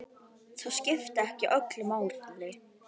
Það skipti ekki öllu máli.